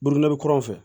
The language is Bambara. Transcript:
Buruburu kurun fɛ